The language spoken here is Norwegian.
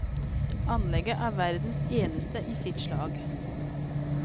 Anlegget er verdens eneste i sitt slag.